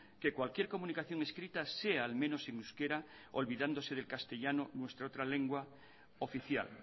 que cualquier comunicación escrita sea al menos en euskera olvidándose del castellano nuestra otra lengua oficial